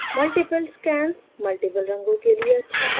multiple scans multiple रंगों के लिए अच्छा है